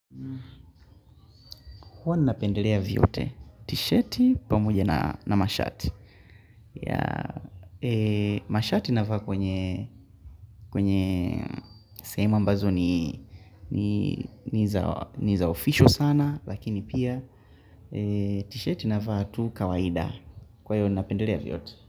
Huwa nina pendelea vyote, tisheti pamoja na mashati. Mashati nafaa kwenye sehemu ambazo nii ni za official sana, lakini pia tisheti nafaa tu kawaida. Kwa hiyo nina pendelea vyote.